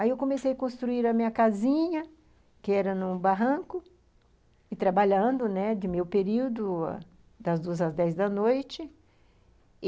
Aí eu comecei a construir a minha casinha, que era num barranco, e trabalhando, né, de meio período, das duas às dez da noite.